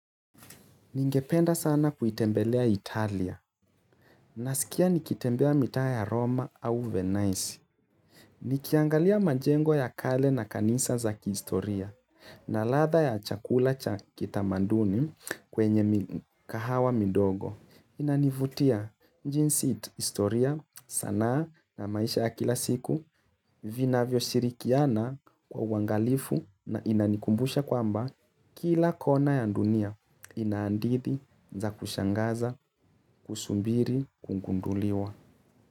Ningependa sana kuitembelea Italia nasikia nikitembea mitaa ya Roma au Venise. Nikiangalia majengo ya kale na kanisa za kihistoria na ladha ya chakula cha kitamaduni kwenye kahawa midogo. Inanivutia jinsi historia sanaa na maisha ya kila siku Vinavyoshirikiana kwa uangalifu na inanikumbusha kwamba Kila kona ya dunia ina hadithi za kushangaza, kusubiri, kugunduliwa.